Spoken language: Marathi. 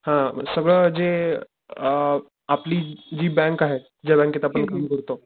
हा सगळं जे अ आपली जी बँक आहे ज्या बँकेत आपण काम करतो,